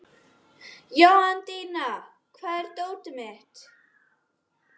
Jóhanndína, hvar er dótið mitt?